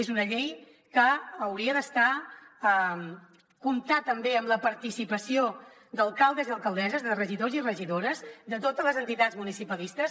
és una llei que hauria comptar també amb la participació d’alcaldes i alcaldesses de regidors i regidores de totes les entitats municipalistes